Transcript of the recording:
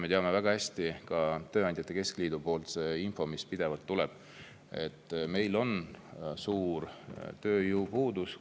Me teame väga hästi, et Tööandjate Keskliidult tuleb pidevalt infot, et meil on suur kvalifitseeritud tööjõu puudus.